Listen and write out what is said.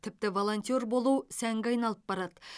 тіпті волонтер болу сәнге айналып барады